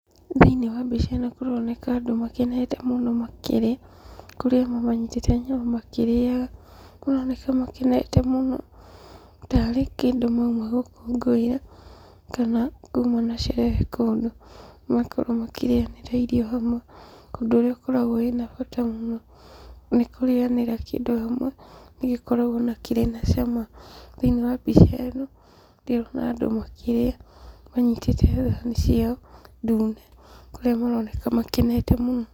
Thĩiniĩ wa mbica kũroneka andũ makenete mũno makĩrĩa, kũrĩa amwe manyitĩte nyama makĩrĩaga. Kũroneka makenete mũno tarĩ kĩndũ mauma gũkũngũĩra, kana kuuma na sherehe kũndũ, makorwo makĩrĩanĩra irio hamwe. Ũndũ ũrĩa ũkoragwo wĩna bata mũno nĩ kũrĩanĩra kĩndũ hamwe, nĩgĩkoragwo na kĩrĩ na cama. Thĩiniĩ wa mbica ĩno ndĩrona andũ makĩria manyitĩte thani ciao ndune kũrĩa maroneka makenete mũno.